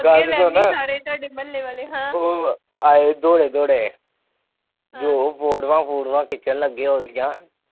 ਗੱਲ ਸੁਣ ਉਹ ਆਏ ਦੋੜੇ ਦੋੜੇ ਉਹ ਫੋਟੁਆ ਫੁਟੁਆ ਖਿਚਲ ਲੱਗੇ ਉਹਦੀਆਂ